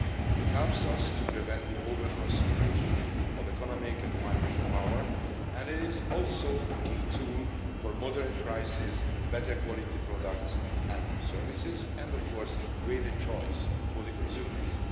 It helps us prevent the over concentration of economic and financial power, and it is also a key tool for moderate prices, better quality products and services, and of course greater choice for the consumers.